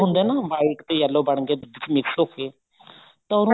ਹੁੰਦਾ ਨਾ white ਤੇ yellow ਬਣ ਕੇ mix ਹੋਕੇ ਤਾਂ ਉਹਨੂੰ